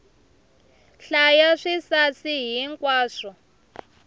hlaya swisasi hi nkwaswo